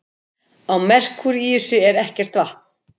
Á Merkúríusi er ekkert vatn.